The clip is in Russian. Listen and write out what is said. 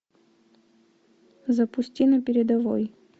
запусти на передовой